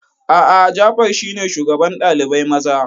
A'a, Jafar shine shugaban ɗalibai maza.